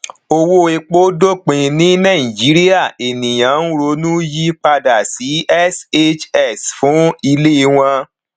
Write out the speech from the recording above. owó epo dópin ní naijirìa ènìyàn ń ronú yí padà sí shs fún ilé wọn